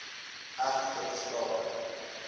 erf ter sprake